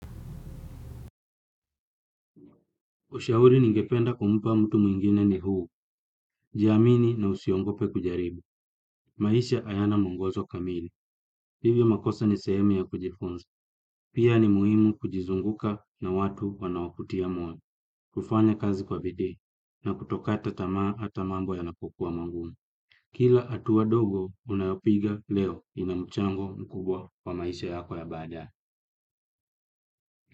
Ushauri ningependa kumpa mtu mwengine ni huu, jiamini na usiogope kujaribu, maisha hayana mwongozo kamili, hivyo makosa ni sehemi ya kujifunza, pia ni muhimu kujizunguka na watu wanaokutia moyo, kufanya kazi kwa bidii, na kutokata tamaa hata mambo yanapokuwa magumu. Kila hatua dogo unayopiga leo ina mchango mkubwa kwa maisha yako ya baadaye.